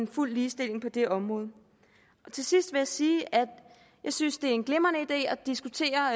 fuld ligestilling på det område til sidst vil jeg sige at jeg synes det er en glimrende idé at diskutere